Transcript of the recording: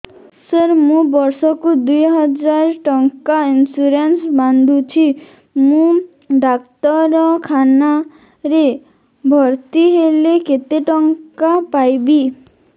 ସାର ମୁ ବର୍ଷ କୁ ଦୁଇ ହଜାର ଟଙ୍କା ଇନ୍ସୁରେନ୍ସ ବାନ୍ଧୁଛି ମୁ ଡାକ୍ତରଖାନା ରେ ଭର୍ତ୍ତିହେଲେ କେତେଟଙ୍କା ପାଇବି